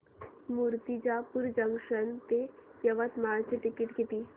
Murtijapur junction ते यवतमाळ चे तिकीट किती